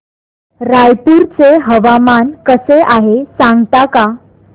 रायपूर चे हवामान कसे आहे सांगता का